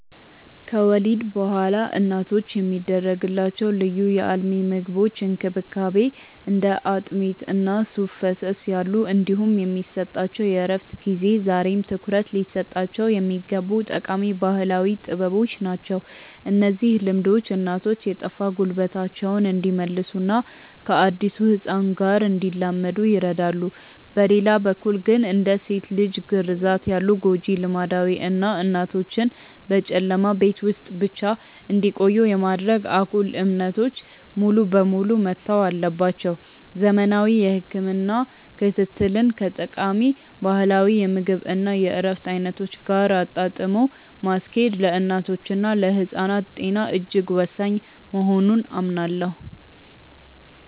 ከወሊድ በኋላ እናቶች የሚደረግላቸው ልዩ የአልሚ ምግቦች እንክብካቤ (እንደ አጥሚት እና ሱፍ ፈሰስ ያሉ) እንዲሁም የሚሰጣቸው የእረፍት ጊዜ ዛሬም ትኩረት ሊሰጣቸው የሚገቡ ጠቃሚ ባህላዊ ጥበቦች ናቸው። እነዚህ ልምዶች እናቶች የጠፋ ጉልበታቸውን እንዲመልሱና ከአዲሱ ህፃን ጋር እንዲላመዱ ይረዳሉ። በሌላ በኩል ግን፣ እንደ ሴት ልጅ ግርዛት ያሉ ጎጂ ልማዶች እና እናቶችን በጨለማ ቤት ውስጥ ብቻ እንዲቆዩ የማድረግ አጉል እምነቶች ሙሉ በሙሉ መተው አለባቸው። ዘመናዊ የህክምና ክትትልን ከጠቃሚ ባህላዊ የምግብ እና የእረፍት አይነቶች ጋር አጣጥሞ ማስኬድ ለእናቶችና ለህፃናት ጤና እጅግ ወሳኝ መሆኑን አምናለሁ።